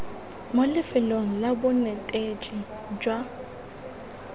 mo lefelong la bonetetshi jwa